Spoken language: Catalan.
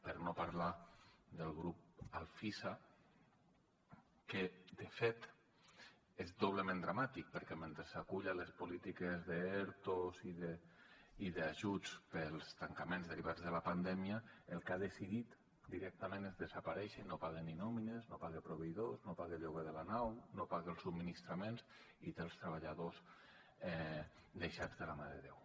per no parlar del grup alfisa que de fet és doblement dramàtic perquè mentre s’acull a les polítiques d’erto i d’ajuts pels tancaments derivats de la pandèmia el que ha decidit directament és desaparèixer i no paga ni nòmines no paga proveïdors no paga el lloguer de la nau no paga els subministraments i té els treballadors deixats de la mà de déu